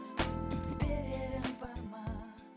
берерім бар ма